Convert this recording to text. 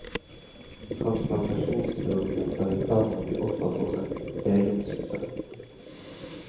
Transplantasjonskirurgien er i ferd med å bli offer for sin egen suksess.